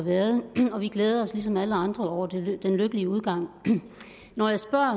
har været og vi glæder os lige som alle andre over den lykkelige udgang når jeg spørger